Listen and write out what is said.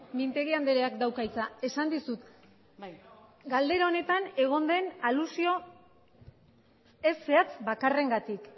mintegi andreak dauka hitza esan dizut galdera honetan egon den alusio ez zehatz bakarrengatik